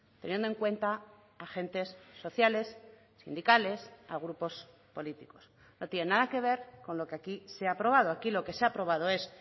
teniendo en cuenta agentes sociales sindicales a grupos políticos no tiene nada que ver con lo que aquí se ha aprobado aquí lo que se ha aprobado es